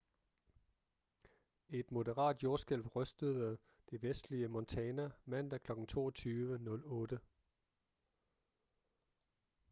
et moderat jordskælv rystede det vestlige montana mandag kl. 22:08